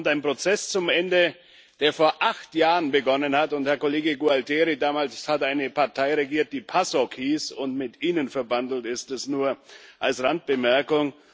Damit kommt ein Prozess zum Ende, der vor acht Jahren begonnen hat, und, Herr Kollege Gualtieri, damals hat eine Partei regiert, die PASOK hieß und mit ihnen verbandelt ist, dies nur als Randbemerkung.